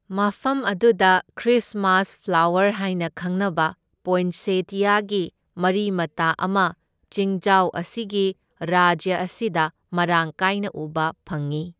ꯃꯐꯝ ꯑꯗꯨꯗ Christmas flower ꯍꯥꯏꯅ ꯈꯪꯅꯕ ꯄꯣꯏꯟꯁꯦꯇꯤꯌꯥꯒꯤ ꯃꯔꯤ ꯃꯇꯥ ꯑꯃ ꯆꯤꯡꯖꯥꯎ ꯑꯁꯤꯒꯤ ꯔꯥꯖ꯭ꯌ ꯑꯁꯤꯗ ꯃꯔꯥꯡ ꯀꯥꯏꯅ ꯎꯕ ꯐꯪꯏ꯫